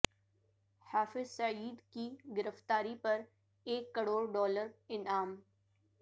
حافظ سعید کی گرفتاری پر ایک کروڑ ڈالر انعام